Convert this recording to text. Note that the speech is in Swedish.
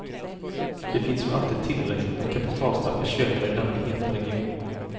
Det finns ju alltid tillräckligt med kapitalstarka köpare i denna heta region.